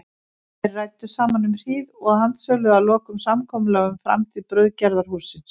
Þeir ræddu saman um hríð og handsöluðu að lokum samkomulag um framtíð brauðgerðarhússins.